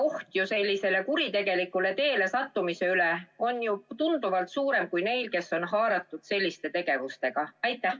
Oht, et nad kuritegelikule teele satuvad, on ju tunduvalt suurem kui nende puhul, kes on selliste tegevustega haaratud.